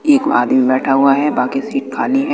एक में आदमी बैठा हुआ है बाकी सीट खाली--